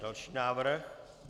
Další návrh?